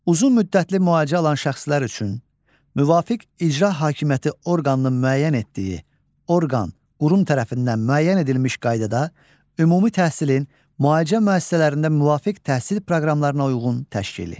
Uzunmüddətli müalicə alan şəxslər üçün müvafiq icra hakimiyyəti orqanının müəyyən etdiyi orqan, qurum tərəfindən müəyyən edilmiş qaydada ümumi təhsilin müalicə müəssisələrində müvafiq təhsil proqramlarına uyğun təşkili.